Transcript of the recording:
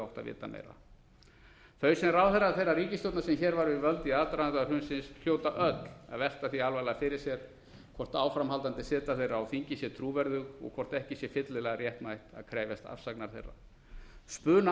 vita meira þau sem ráðherrar þeirrar ríkisstjórnar sem hér var við völd í aðdraganda hrunsins hljóta öll að velta því alvarlega fyrir sér hvort áframhaldandi seta þeirra á þingi sé trúverðug og hvort ekki sé fyllilega réttmætt að krefjast afsagnar þeirra